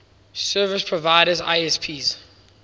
service providers isps